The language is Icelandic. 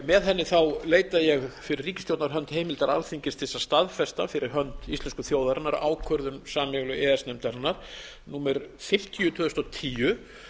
með henni leita ég fyrir ríkisstjórnar hönd heimildar alþingis til þess að staðfesta fyrir hönd íslensku þjóðarinnar ákvörðun sameiginlegu e e s nefndarinnar númer fimmtíu tvö þúsund og tíu